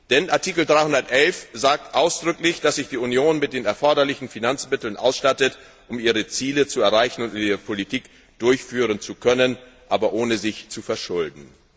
Denn Artikel 311 besagt ausdrücklich, dass sich die Union mit den erforderlichen Finanzmitteln ausstattet, um ihre Ziele zu erreichen und ihre Politik durchführen zu können, aber ohne sich zu verschulden.